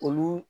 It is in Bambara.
Olu